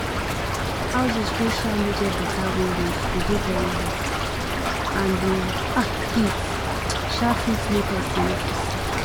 houses wey um no get better windows go dey very hot and di um heat um fit make person no fit sleep